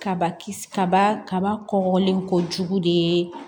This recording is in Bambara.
Kabakisi kaba kaba kɔkɔlen kɔjugu de ye